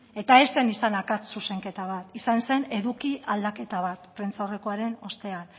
eta ez zen izan akats zuzenketa bat izan zen eduki aldaketa bat prentsaurrekoaren ostean